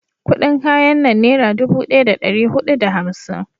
kudin kayan nan nera dubu daya da dari hudu da hamsin